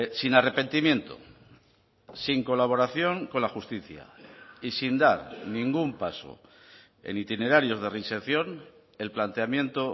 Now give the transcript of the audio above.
sin arrepentimiento sin colaboración con la justicia y sin dar ningún paso en itinerarios de reinserción el planteamiento